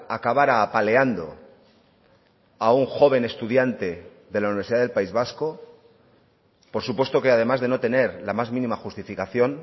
acabara apaleando a un joven estudiante de la universidad del país vasco por supuesto que además de no tener la más mínima justificación